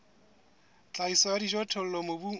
tlhahiso ya dijothollo mobung o